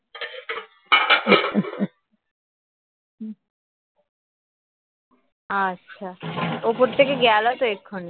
আচ্ছা উপর থেকে গেল তো এক্ষুনি